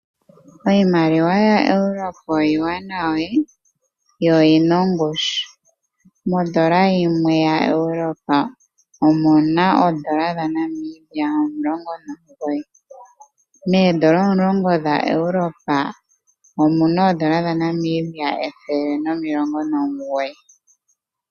Iimaliwa yaEurope iiwanawa yo oyina ongushu. Mondola yimwe yaEurope omuna oondola dhaNamibia omulongo nomugoyi, meendola omulongo dhaEurope omuna oondola dhaNamibia ethele nomulongo omugoyi.